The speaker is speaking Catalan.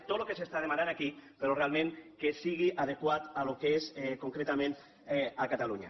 tot el que s’està demanant aquí però realment que sigui adequat al que és concretament catalunya